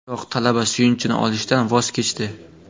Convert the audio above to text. Biroq talaba suyunchini olishdan voz kechdi.